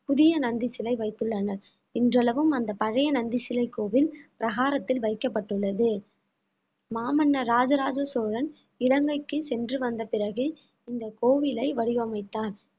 புதிய நந்தி சிலை வைத்துள்ளனர் இன்றளவும் அந்த பழைய நந்தி சிலை கோவில் பிரகாரத்தில் வைக்கப்பட்டுள்ளது மாமன்னர் இராஜராஜ சோழன் இலங்கைக்கு சென்று வந்த பிறகு இந்த கோவிலை வடிவமைத்தான்